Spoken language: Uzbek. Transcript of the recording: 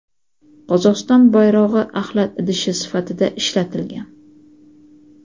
Qozog‘iston bayrog‘i axlat idishi sifatida ishlatilgan.